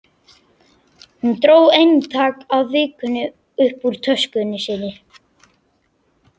Hún dró eintak af Vikunni upp úr töskunni sinni.